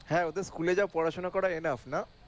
হ্যাঁ ওদের স্কুলে যা পড়াশোনা করাই না